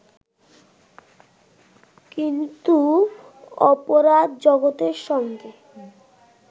কিন্তু অপরাধ-জগতের সঙ্গে